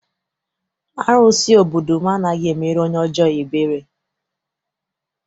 Arụsị obodo m anaghị emere onye ọjọọ ebere.